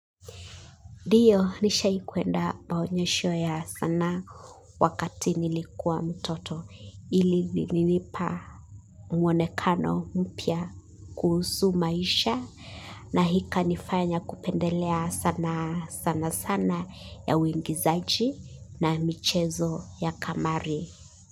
Dio, nishai kuenda maonyesho ya sanaa wakati nilikuwa mtoto. Ili nilinipa muonekano mpya kuhusu maisha na hikanifanya kupendelea sana sana sana ya uingizaji na michezo ya kamari.